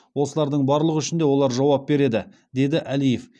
осылардың барлығы үшін де олар жауап береді деді әлиев